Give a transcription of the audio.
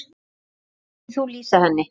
Hvernig myndir þú lýsa henni?